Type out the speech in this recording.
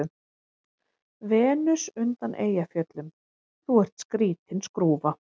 Venus undan Eyjafjöllum:- Þú ert skrýtin skrúfa.